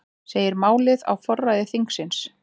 Segir málið á forræði þingsins